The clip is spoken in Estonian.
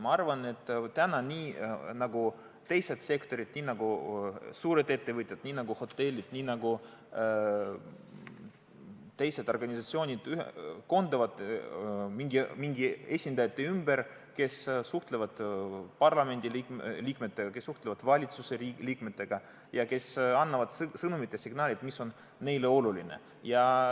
Ma arvan, et nemad nii nagu teisedki sektorid, nii nagu suured ettevõtjad, nii nagu hotellid, nii nagu teised organisatsioonid koonduvad mingite esindajate ümber, kes suhtlevad parlamendiliikmetega, kes suhtlevad valitsuse liikmetega ja kes annavad sõnumeid ja signaale, mis on neile oluline.